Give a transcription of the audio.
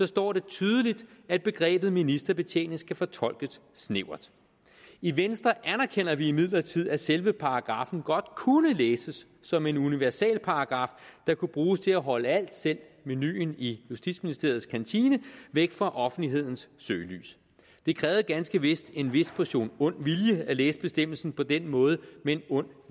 står tydeligt at begrebet ministerbetjening skal fortolkes snævert i venstre anerkender vi imidlertid at selve paragraffen godt kunne læses som en universalparagraf der kunne bruges til at holde alt selv menuen i justitsministeriets kantine væk for offentlighedens søgelys det krævede ganske vist en vis portion ond vilje at læse bestemmelsen på den måde men ond